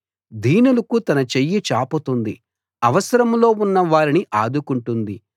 దీనులకు తన చెయ్యి చాపుతుంది అవసరంలో ఉన్న వారిని ఆదుకుంటుంది